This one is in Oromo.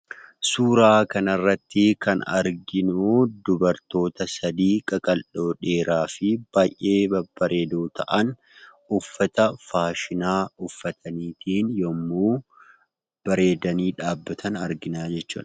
Suuraa kanarrattii kan arginuu dubartoota sadii qaqal'oo dheeraa fi baay'ee babbareedoo ta'an uffata faashinaa uffataniitiin yemmuu bareedanii dhaabbatan arginaa jechuudha.